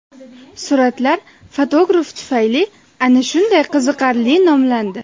Suratlar fotograf tufayli ana shunday qiziqarli nomlandi.